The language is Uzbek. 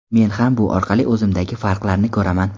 Men ham bu orqali o‘zimdagi farqlarni ko‘raman.